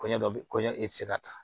Kɔɲɔ dɔ bɛ kɔɲɔ e tɛ se ka taa